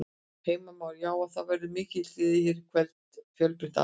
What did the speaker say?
Heimir Már: Já, og það verður mikil gleði hér í kvöld, fjölbreytt atriði?